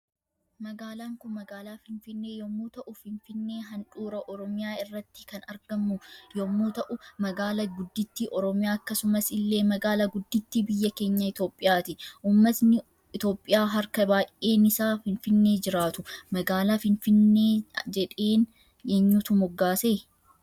Magaalan Kun magaala finfinnee yommuu ta'u finfinnee handhuurra oromiyaa irratti kan argamu yommuu ta'u magaala gudditti oromiya akkasumas illee magaala gudditti biyya keenya itoophiyati Uummatni itoophiya harka baay'eenis finfinnee jiraatu. magaala finfinnee jedheen eenyutu moggaase?